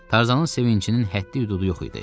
Tarzanın sevincinin həddi-hüdudu yox idi.